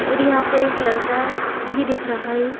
और यहाँ पर एक लड़का भी दिख रहा है।